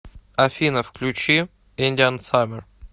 афина включи индиан саммер